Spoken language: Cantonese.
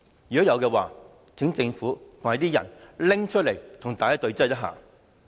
如果有的話，請政府提出來與大家對質。